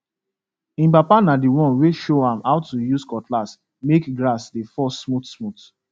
him papa na the one wey show am how to use cutlass make grass dey fall smoothsmooth